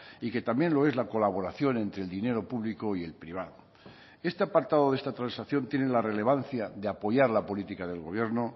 y que también lo es la colaboración entre el dinero público y el privado este apartado de esta transacción tiene la relevancia de apoyar la política del gobierno